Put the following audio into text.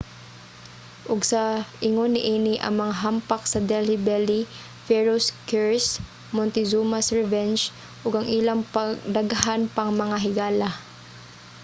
ug sa ingon niini ang mga hampak sa delhi belly pharaoh's curse montezuma's revenge ug ang ilang daghan pang mga higala